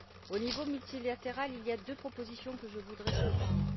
Au niveau multilatéral, il y a deux propositions que je voudrais souligner.